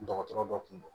Dɔgɔtɔrɔ dɔ kun don